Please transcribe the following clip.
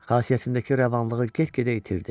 Xasiyyətindəki rəvanlığı get-gedə itirdi.